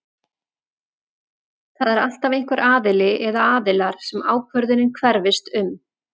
Það er alltaf einhver aðili eða aðilar sem ákvörðunin hverfist um.